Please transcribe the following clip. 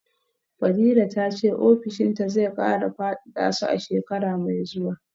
fadila tace ofishinta zai kara fadada su a shekara mai zuwa